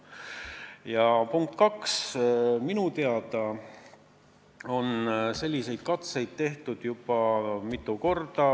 Ja punkt kaks: minu teada on selliseid katseid tehtud juba mitu korda.